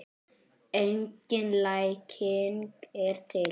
Engin lækning er til.